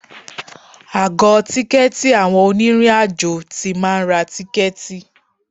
Àgọ tìkẹ̀tí àwọn onírin àjò tí máa ń ra tìkẹ̀tí.